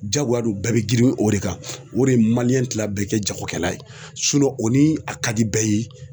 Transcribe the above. Jagoya don bɛɛ bɛ girin o de kan o de ye bɛɛ kɛ jagokɛla ye o ni a ka di bɛɛ ye.